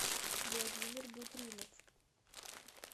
владимир бутримов